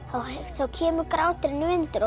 þá kemur gráturinn